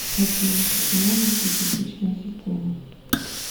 афина почему у нас десятичная система